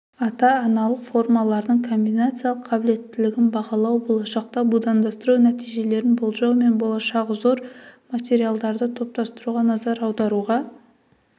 ата-аналық формалардың комбинациялық қабілеттілігін бағалау болашақта будандастыру нәтижелерін болжау мен болашағы зор материалдарды топтастыруға назар аударуға